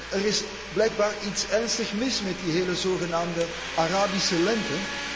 Er is blijkbaar iets ernstig mis met die hele zogenaamde Arabische lente.